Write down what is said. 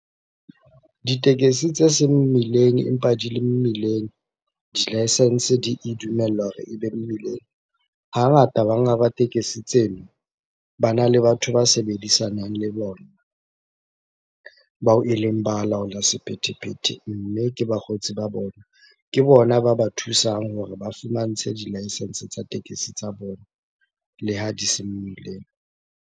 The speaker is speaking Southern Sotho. Ditekesi tse seng mmileng empa di le mmileng, di-licence di e dumella hore ebe mmileng. Hangata banga ba tekesi tseno, bana le batho ba sebedisanag le bona. Bao eleng balaola sephethephethe. Mme ke bakgotsi ba bona, ke bona ba ba thusang hore ba fumantshwe di-licence tsa tekesi tsa bona le ha di se mmileng.